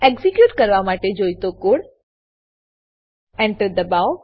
execute કરવા માટે જોઈતો કોડ Enter દબાવો